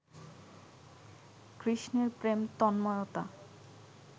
কৃষ্ণের প্রেম তন্ময়তা